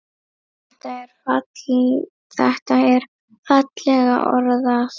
Þetta er fallega orðað.